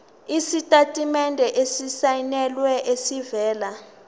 isitatimende esisayinelwe esivela